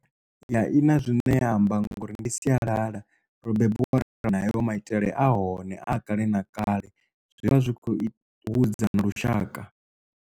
Ya i na zwine ya amba ngori ndi sialala ro bebiwa ri na hayo maitele a hone a kale na kale zwivha zwi kho u hudza na lushaka.